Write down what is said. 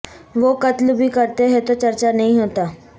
وہ قتل بھی کرتے ہیں تو چرچہ نہیں ہوتا